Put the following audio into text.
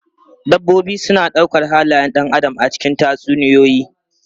Dabbobi suna ɗaukar halayen ɗan adam a cikin tatsuniyoyi.